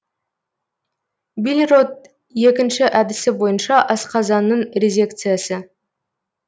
бильрот екі әдісі бойынша асқазанның резекциясы